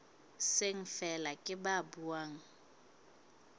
seng feela ke ba buang